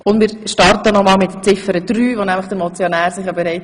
Wir starten nochmals mit Ziffer 3.